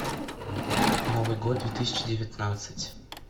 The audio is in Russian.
новый год две тысячи девятнадцать